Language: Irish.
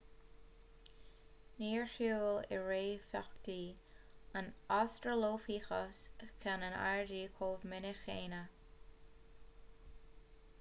níor shiúil a réamhtheachtaí an australopithecus ceann in airde chomh minic céanna